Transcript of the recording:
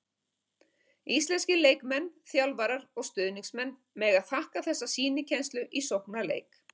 Íslenskir leikmenn, þjálfarar og stuðningsmenn mega þakka þessa sýnikennslu í sóknarleik.